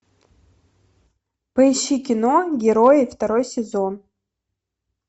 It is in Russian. поищи кино герои второй сезон